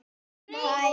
HVAÐ ER AÐ GERAST?